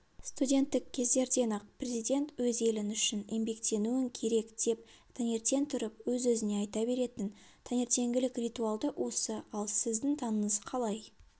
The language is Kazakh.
студенттік кездерден-ақ президент өз елің үшін еңбектенуің керек деп таңертең тұрып өз-өзіне айта беретін таңертеңгілік ритуалы осы ал сіздің таңыңыз қалай